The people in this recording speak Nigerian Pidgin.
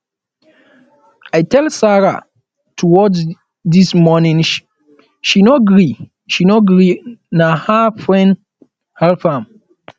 i tell sara um to watch dis morning she no gree she no gree na her friend help am